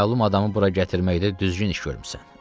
Naməlum adamı bura gətirməkdə düzgün iş görmüsən.